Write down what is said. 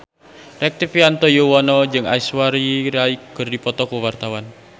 Rektivianto Yoewono jeung Aishwarya Rai keur dipoto ku wartawan